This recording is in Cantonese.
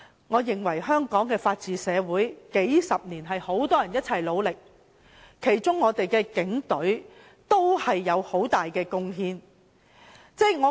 我認為香港的法治社會，是由很多人數十年來一起努力建立的，警隊有很大的貢獻。